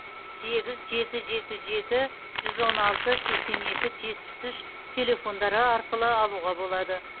сегіз жеті жеті жеті жүз он алты сексен екі жетпіс үш телефондары арқылы алуға болады